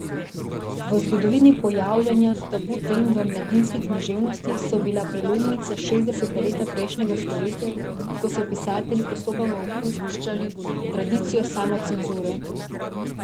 V zgodovini pojavljanja tabu tem v mladinski književnosti so bila prelomnica šestdeseta leta prejšnjega stoletja, ko so pisatelji postopoma opuščali tradicijo samocenzure.